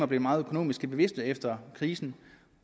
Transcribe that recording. bliver meget økonomisk bevidste efter krisen